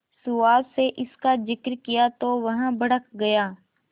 सुहास से इसका जिक्र किया तो वह भड़क गया